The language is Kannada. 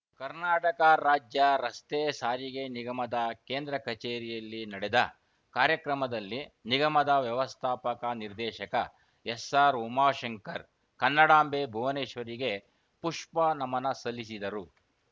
ಕರ್ನಾಟಕ ರಾಜ್ಯರಸ್ತೆ ಸಾರಿಗೆ ನಿಗಮದ ಕೇಂದ್ರ ಕಚೇರಿಯಲ್ಲಿ ನಡೆದ ಕಾರ‍್ಯಕ್ರಮದಲ್ಲಿ ನಿಗಮದ ವ್ಯವಸ್ಥಾಪಕ ನಿರ್ದೇಶಕ ಎಸ್‌ಆರ್‌ಉಮಾಶಂಕರ್‌ ಕನ್ನಡಾಂಬೆ ಭುವನೇಶ್ವರಿಗೆ ಪುಷ್ಪ ನಮನ ಸಲ್ಲಿಸಿದರು